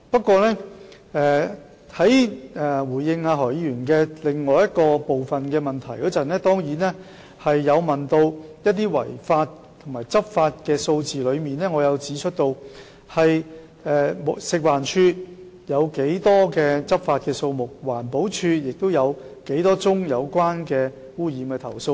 剛才在回應何議員另一部分的質詢時，我曾提供有關違法和執法的數字，亦指出食環署的執法數字，以及環境保護署收到多少宗有關污染的投訴。